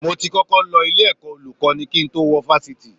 Mo ti kọ́kọ́ lọ ilé-ẹ̀kọ́ Olùkọ́ní kí n tó wọ Fáṣítì